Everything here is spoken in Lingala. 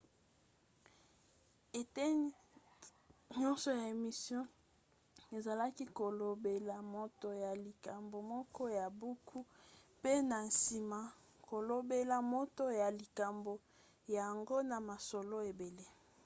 eteni nyonso ya émission ezalaki kolobela moto ya likambo moko ya buku pe na nsima kolobela moto ya likambo yango na masolo ebele